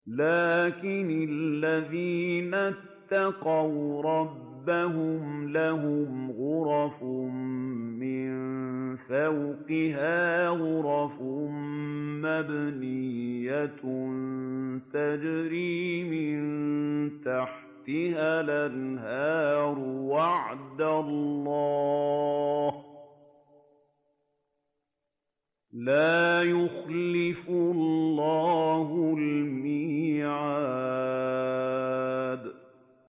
لَٰكِنِ الَّذِينَ اتَّقَوْا رَبَّهُمْ لَهُمْ غُرَفٌ مِّن فَوْقِهَا غُرَفٌ مَّبْنِيَّةٌ تَجْرِي مِن تَحْتِهَا الْأَنْهَارُ ۖ وَعْدَ اللَّهِ ۖ لَا يُخْلِفُ اللَّهُ الْمِيعَادَ